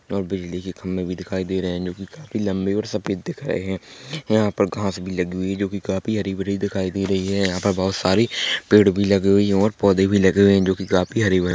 और बिजली के खंबे भी दिखाई दे रहे हैं जो कि काफी लंबे और सफेद दिख रहे हैं यहाँ पर घाँस भी लगी हुई है जो कि काफी हरी-भरी दिखाई दे रही है यहाँ पर बहोत सारी पेड़-पौधे लगे हुए हैं और पौधे भी लगे हुए हैं जो कि काफी हरे-भरे हैं।